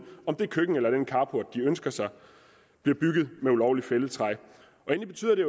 om det køkken eller den carport de ønsker sig bliver bygget af ulovligt fældet træ endelig betyder det